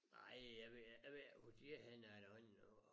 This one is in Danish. Nej jeg ved ik jeg ved ikke hvor de er henne af derhenne af